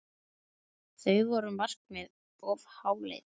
Voru þau markmið of háleit?